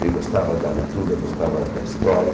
Ele gostava da leitura, gostava da história.